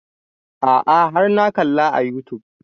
A'a har na kalla a youtube